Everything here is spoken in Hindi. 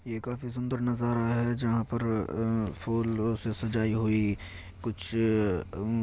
ये काफी सुंदर नज़ारा है जहाँ पर उ फूलों से सजाई हुई कुछ उ--